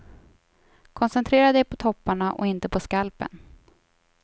Koncentrera dig på topparna och inte på skalpen.